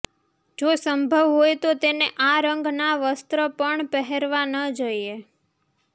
જો સંભવ હોય તો તેને આ રંગ ના વસ્ત્ર પણ પહેરવા ન જોઈએ